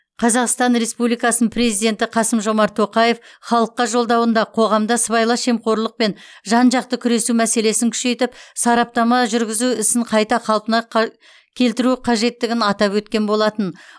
қазақстан республикасының президенті қасым жомарт тоқаев халыққа жолдауында қоғамда сыбайлас жемқорлықпен жан жақты күресу мәселесін күшейтіп сараптама жүргізу ісін қайта қалпына келтіру қажеттігін атап өткен болатын